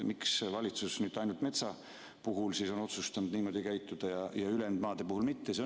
Miks valitsus nüüd ainult metsamaa puhul on otsustanud niimoodi käituda ja ülejäänud maade puhul mitte?